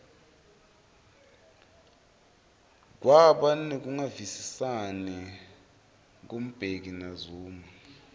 kwaba nekungavisisani ku mbeki na zuma